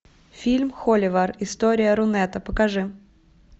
фильм холивар история рунета покажи